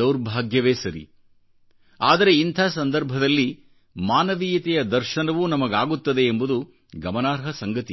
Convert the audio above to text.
ದೌರ್ಭಾಗ್ಯವೇ ಸರಿ ಆದರೆ ಇಂಥ ಸಂದರ್ಭದಲ್ಲಿ ಮಾನವೀಯತೆಯದರ್ಶನವೂ ನಮಗಾಗುತ್ತದೆ ಎಂಬುದು ಗಮನಾರ್ಹ ಸಂಗತಿ